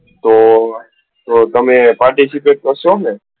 તો તમે participate કરશો ને?